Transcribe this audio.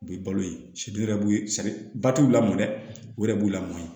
U bɛ balo ye wɛrɛ b'u sɛgɛn ba t'u la mɔn dɛ u yɛrɛ b'u lamɔ